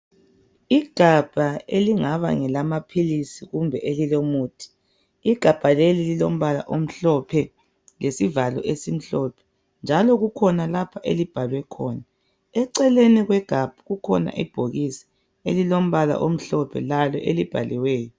Igabha elingaba ngelamaphilisi kumbe elilomuthi. Igabha leli lilombala omhlophe lesivalo esimhlophe njalo kukhona lapho elibhalwe khona. Eceleni kwegabha kukhona ibhokisi elilombala omhlophe lalo elibhaliweyo.